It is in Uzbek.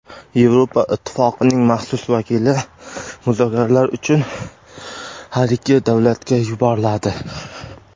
Yevropa Ittifoqining maxsus vakili muzokaralar uchun har ikki davlatga yuboriladi.